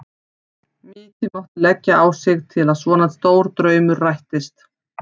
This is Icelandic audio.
Mikið mátti leggja á sig til að svona stór draumur rættist.